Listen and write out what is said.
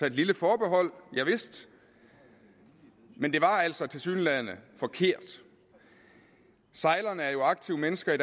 et lille forbehold javist men det var altså tilsyneladende forkert sejlerne er jo aktive mennesker